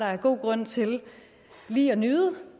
er god grund til lige at nyde